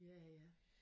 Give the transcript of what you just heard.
Ja ja